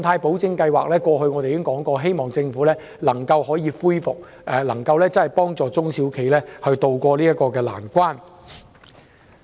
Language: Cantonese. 我們過去曾指出，希望政府能恢復特別信貸保證計劃，幫助中小企渡過難關。